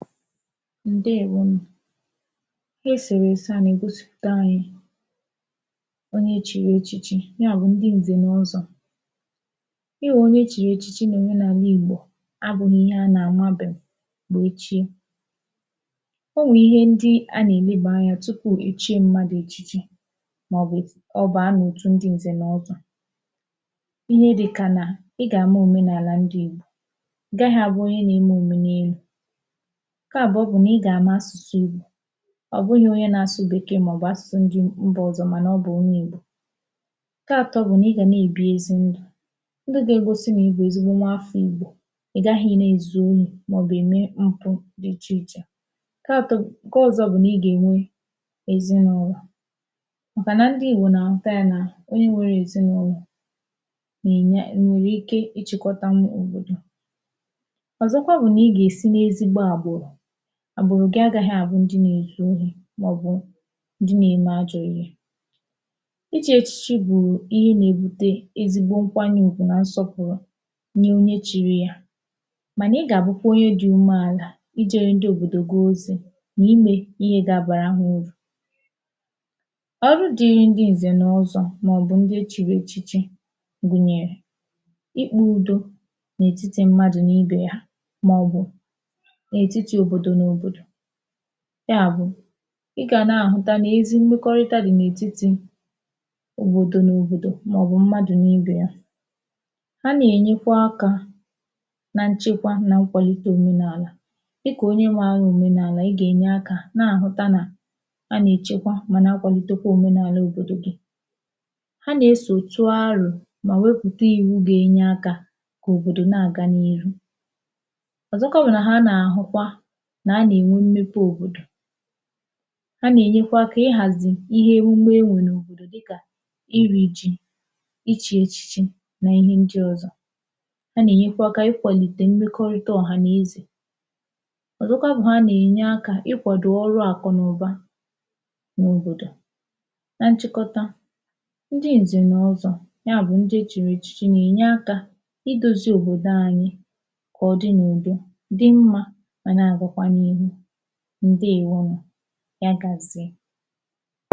ǹdewo nù ihe esèrèse à nà ègosị̀pụ̀ta anyị onye chịrị echịchị yà bụ̀ ndị ǹzè nà ọzọ̄ yà bụ onye e chị̀rị echichi n’àla ìgbò a bụ̄ghị ihe a nà àmabẹ̀m mà e chie o nwè ihe ndị a nà ẹnẹ̀bà anyā tupù è chie mmadù echichi mà ọ̀ bụ̀ ọ baa n’otù ndị ǹzẹ̀ nà ozọ̄ ihe dikà nà ị gà àma òmenàlà ndị ìgbò ị̀ gaghị abụ onye nā eme òmenelū ǹkẹ àbụọ bụ nà ị gà àma asụ̀sụ ìgbò ọ̀ bụghị̄ onye nā asụ̀ Bèkèè mà ọ̀ bụ̀ asụ̀sụ mbà ndị ọ̀zọ mànà ọ bụ̀ onye ìgbò ǹkẹ atọ bụ̀ nà ị gà nà èbi ezi ndụ̀ ndụ̄ gà egosi nà ị bụ̀ ezigbo nwafọ ìgbò ị̀ gàghị nà èzu orī mà ọ̀ bụ ème mpụ̄ dị ichè ichè ǹkẹ atọ ǹkẹ ọzọ bụ̀ nà ị gà ènwe ezịnụlọ̀ màkà nà ndị ìgbò nà àhụta yā nà onye nwẹrẹ ezịnụlọ̀ nạ̀ ènye.. nwẹ̀rẹ̀ ike ịchị̄kọta m̀gbudù ọ̀zọkwa bụ̀ nà ị gà èsi n’ezigbo àgbụ̀rụ̀ àgbụ̀rụ̀ gị̄ agāghị àbụ ndị nā èzu orī ndị nà ème ajọ̄ ihe ichī echichi bụ̀ ihe nà ebute ezigbo nkwanye ùgwù nà nsọpụ̀rụ nye onye chiri yā mànà ị gà àbụkwa onye dị̄ umeàlà ị jēre ndị òbòdò gị ozī nà i mē ihe gà abàra hā urù ọrụ dịrị ndị ǹzẹ̀ nà ọzọ̄ mà ọ̀ bụ̀ ndị e chị̀rị̀ echichi gùnyẹ̀rẹ̀ ikpē udo n’ètiti mmadù ibè ha mà ọ̀ bụ̀ n’ètiti òbòdò n’òbòdò yà bụ̀ ị gà nà àhụta nà ezi mmẹkọrịta dị̀ n’ètiti òbòdò n’òbòdò mà ọ̀ bụ̀ mmadù n’ibè ya ha nà ènyekwa akā na nchẹkwa nà nkwàlite òmenàlà dịkà onye nwẹ̄ anya òmenàlà ị gà ènye akā nà àhụta nà a nà èchekwa mà na kwàlite kwa òmenàla òbòdò gị ha nà esòtu arò mà wepùta ìwu ga enye akā kà òbòdò nà àga n’ihu ọ̀zọkwa bụ nà ha nà àhụkwa nà a nà ènwe mmepe òbòdò ha nà ènyekwa akā ị hàzì ihe emume e nwè n’obòdò dịkà ịrị̄ jị ịchị̄ echichi na ihe ndị ọ̀zọ ha nà ẹ̀nyẹkwa akā ịkwàlìtè mmekọrịta ọ̀hàneze ọ̀zọkwa bụ ha nà ènye akā ị kwàdò ọrụ àkụ̀nụ̀ba n’òbòdò na nchịkọta ndị ǹzẹ̀ n’ọzọ̄ ya bụ ndị e chìrì echichi nà ènye akā ị dozi òbòdo anyị kà ọ dị n’ùdo dị mmā mà nà àgakwa n’ihù ǹdewo nù yagàzie